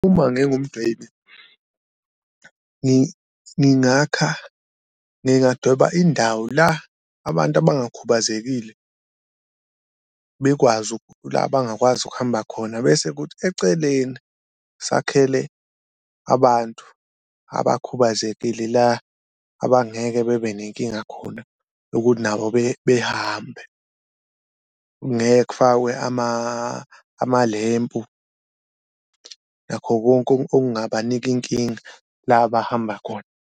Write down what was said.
Uma ngingumdwebi ngingakha ngingadweba indawo la abantu abangakhubazekile bekwazi la abangakwazi ukuhamba khona, bese kuthi eceleni sakhele abantu abakhubazekile la abangeke bebe nenkinga khona ukuthi nabo behambe. Ngeke kufakwe amalempu nakho konke okungabanika inkinga la abahamba khona.